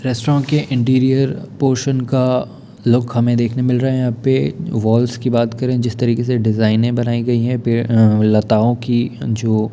restaurant के interior portion का look हमे देखने मिल रहा है यहां पे वॉल्स की बात करें जिस तरीके से डिजाइने बनाई गई हैं पेड़ अं लताओं की जो--